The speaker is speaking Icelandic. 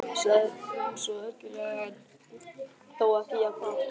sagði hún ergilega en þó ekki alveg jafn hátt.